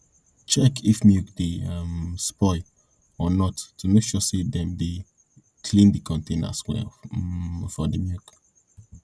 check if milk dey um spoil or not to make sure say dem dey clean de containers well um for the milk